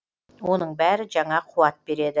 оның бәрі жаңа қуат береді